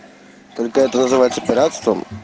только это называется пиратством